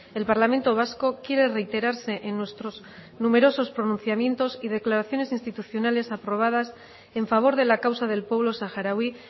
el parlamento vasco quiere reiterarse en nuestros numerosos pronunciamientos y declaraciones institucionales aprobadas en favor de la causa del pueblo saharaui